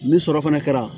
Ni sɔrɔ fana kɛra